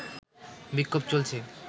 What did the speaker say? বিক্ষোভ চলছে